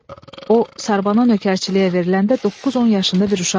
O sarbana nökərçiliyə veriləndə doqquz-on yaşında bir uşaq idi.